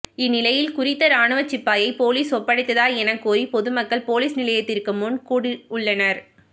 இந் நிலையில் குறித்த இராணுவ சிப்பாயை பொலிஸில் ஒப்படைத்ததா என கோரி பொதுமக்கள் பொலிஸ் நிலையத்நிற்கு முன் கூடியுள்ளனர்